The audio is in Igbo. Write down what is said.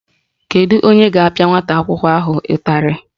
Kedu onye ga-apịa nwata akwụkwọ ahụ ụtalị?